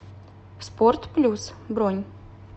спорт плюс бронь